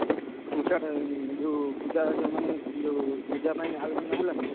ଉଁ ସାଡେ ଯୋଉ ପୂଜା ଯୋଉ ମାନେ ଯୋଉ ପୂଜା ପାଇଁ ଆଲୋଚନା ହେଲାଇଁ।